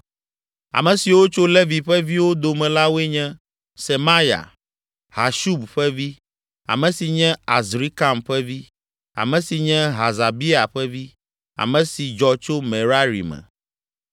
Ame siwo tso Levi ƒe viwo dome la woe nye: Semaya, Hashub ƒe vi, ame si nye Azrikam ƒe vi, ame si nye Hasabia ƒe vi, ame si dzɔ tso Merari me.